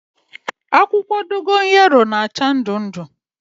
Akwukwo dogoyaro na-acha ndu ndu